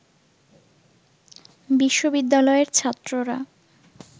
বিশ্ববিদ্যালয়ের ছাত্ররা